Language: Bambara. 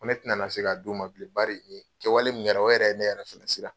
N ko ne tɛna na se ka d'u ma bilen bari kɛwale min kɛra o yɛrɛ ye ne yɛrɛ fɛnɛ siran.